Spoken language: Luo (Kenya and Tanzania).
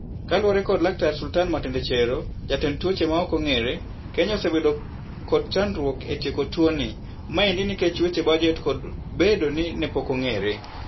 Kalure kod laktar Sultani Matendechero jatend tuoche ma ok ong'ere, Kenya osebedo kod chandruok e tieko tuoni. Maendi nikech weche bajet kod bedo ni ne pok ong'ere.